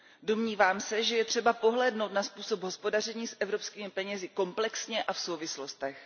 Domnívám se, že je třeba pohlédnout na způsob hospodaření s evropskými penězi komplexně a v souvislostech.